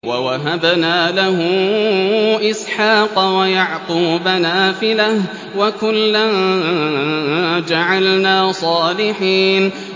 وَوَهَبْنَا لَهُ إِسْحَاقَ وَيَعْقُوبَ نَافِلَةً ۖ وَكُلًّا جَعَلْنَا صَالِحِينَ